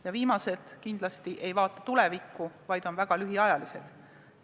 Ja viimased kindlasti ei vaata tulevikku, vaid on väga lühiajalised.